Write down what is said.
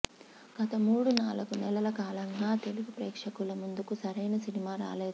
గత మూడు నాలుగు నెలల కాలంగా తెలుగు ప్రేక్షకుల ముందుకు సరైన సినిమా రాలేదు